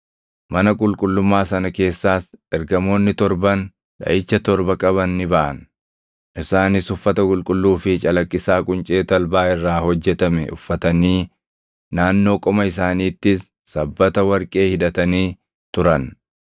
Mana qulqullummaa sana keessaas ergamoonni torban dhaʼicha torba qaban ni baʼan. Isaanis uffata qulqulluu fi calaqqisaa quncee talbaa irraa hojjetame uffatanii naannoo qoma isaaniittis sabbata warqee hidhatanii turan.